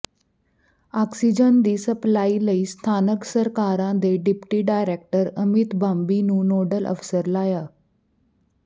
oxygen ਦੀ supply ਲਈ ਸਥਾਨਕ ਸਰਕਾਰਾਂ ਦੇ ਡਿਪਟੀ ਡਾਇਰੈਕਟਰ ਅਮਿਤ ਬਾਂਬੀ ਨੂੰ ਨੋਡਲ ਅਫ਼ਸਰ ਲਾਇਆ